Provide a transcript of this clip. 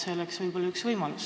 See võiks olla üks võimalus.